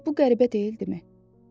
Amma bu qəribə deyildimi?